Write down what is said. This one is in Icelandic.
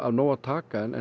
nóg að taka en